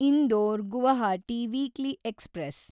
Indore Guwahati weekly express